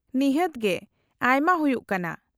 -ᱱᱤᱦᱟᱹᱛ ᱜᱮ, ᱟᱭᱢᱟ ᱦᱩᱭᱩᱜ ᱠᱟᱱᱟ ᱾